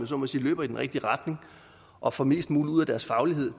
så må sige løber i den rigtige retning og får mest muligt ud af deres faglighed